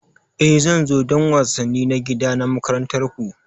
E, zan zo don wasanni na gida na makarantar ku.